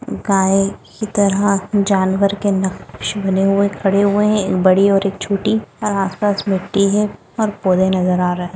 गाय की तरह जानवर के नक़्शे बने हुए है खड़े हुए है एक बड़ी और एक छोटी और आस पास मिट्टी है और पौधे नजर आ रहे है।